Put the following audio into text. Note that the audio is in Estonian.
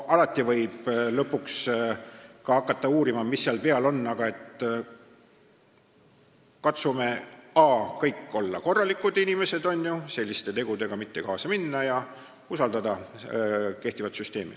Alati võib hakata uurima, mis seal peal on, aga katsume kõik olla korralikud inimesed, selliste tegudega mitte kaasa minna ja usaldada kehtivat süsteemi.